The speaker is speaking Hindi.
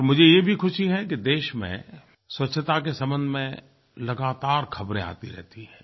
और मुझे ये भी खुशी है कि देश में स्वच्छता के संबंध में लगातार ख़बरें आती रहती हैं